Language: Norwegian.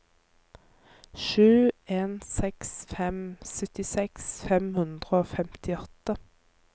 sju en seks fem syttiseks fem hundre og femtiåtte